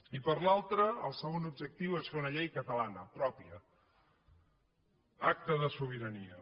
i per l’altre el segon objectiu és fer una llei catalana pròpia acte de sobirania